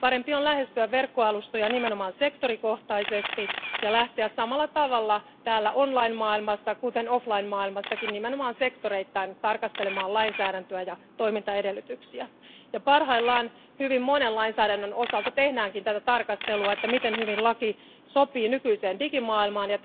On parempi lähestyä verkkoalustoja nimenomaan sektorikohtaisesti ja lähteä samalla tavalla täällä online maailmassa kuten offline maailmassakin nimenomaan sektoreittain tarkastelemaan lainsäädäntöä ja toimintaedellytyksiä. Parhaillaan hyvin monen lainsäädännön osalta tehdään tarkastelua, miten hyvin laki sopii nykyiseen digimaailmaan.